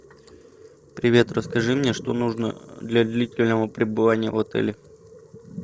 привет расскажи мне что нужно для длительного пребывания в отеле